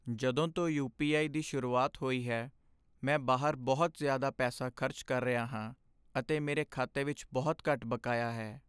ਜਦੋਂ ਤੋਂ U. P. I. ਦੀ ਸ਼ੁਰੂਆਤ ਹੋਈ ਹੈ, ਮੈਂ ਬਾਹਰ ਬਹੁਤ ਜ਼ਿਆਦਾ ਪੈਸਾ ਖ਼ਰਚ ਕਰ ਰਿਹਾ ਹਾਂ ਅਤੇ ਮੇਰੇ ਖਾਤੇ ਵਿੱਚ ਬਹੁਤ ਘੱਟ ਬਕਾਇਆ ਹੈ।